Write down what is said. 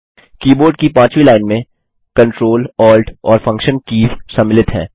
keyboard की पांचवी line में Ctrl Alt और फंक्शन कीज़ सम्मिलित हैं